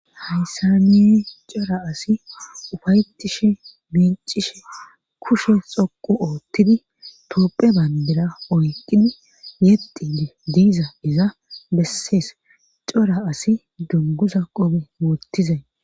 hayssa nini cora asi ufayetishe miicishe kushe xoqu oottidi toopphe bandera oykqidi yedi diiza iza bessees cora asi dunguza qobe woottizay